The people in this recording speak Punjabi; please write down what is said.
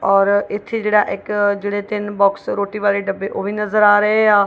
ਔਰ ਇੱਥੇ ਜਿਹੜਾ ਇੱਕ ਜਿਹੜੇ ਤਿੰਨ ਬਾਕਸ ਰੋਟੀ ਵਾਲੇ ਡੱਬੇ ਉਹ ਵੀ ਨਜ਼ਰ ਆ ਰਹੇ ਆ।